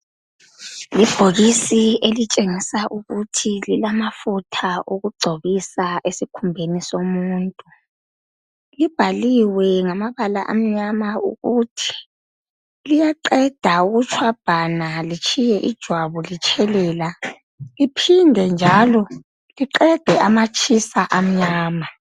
Ibhokisi elitshengisa ukuthi lilamafutha okugcobisa esikhumbeni somuntu. Libhaliwe ngamabala amnyama ukuthi liyaqeda ukutshwabhana litshiye ijwabu litshelela liphinde njalo liqede amatshisela amnyama.